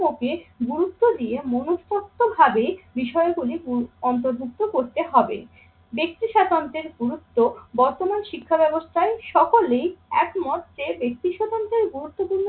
কে গুরুত্ব দিয়ে মনুস্তত্ব ভাবে বিষয়গুলি অন্তর্ভুক্ত করতে হবে। ব্যাক্তি স্বাতন্ত্র্যের গুরুত্ব বর্তমান শিক্ষা ব্যবস্থায় সকলেই একমত যে ব্যক্তি সাধারণদের গুরুত্বপূর্ণ